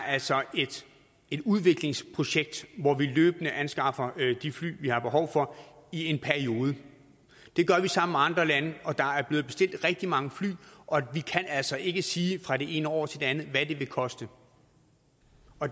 altså er et udviklingsprojekt hvor vi løbende anskaffer de fly vi har behov for i en periode det gør vi sammen med andre lande og der er blevet bestilt rigtig mange fly og vi kan altså ikke sige fra det ene år til det andet hvad det vil koste